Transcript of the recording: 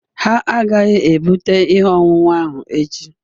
Ha agaghị ebute ihe ọṅụṅụ ahụ echi